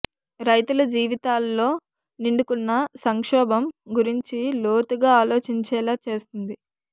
రైతుల జీవితాల్లో నిండుకున్న సంక్షోభం గురించి లోతుగా ఆలోచించేలా చేస్తుంది